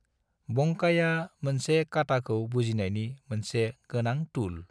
बंकाइआ मोनसे काटाखौ बुजिनायनि मोनसे गोनां टुल ।